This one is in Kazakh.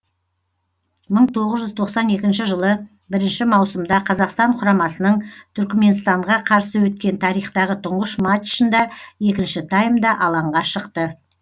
мың тоғыз жүз тоқсан екінші жылы бірінші маусымда қазақстан құрамасының түрікменстанға қарсы өткен тарихтағы тұңғыш матчында екінші таймда алаңға шықты